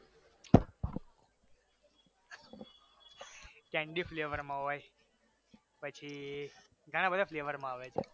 candy flavour માં હોય પછી ઘણા બધા flavour માં આવે છે